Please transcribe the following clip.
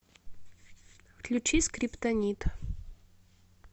включи скриптонит